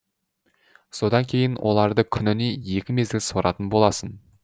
содан кейін оларды күніне екі мезгіл суаратын боласың